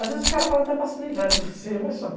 Às vezes os caras fazem até para se livrar de você, mas faz.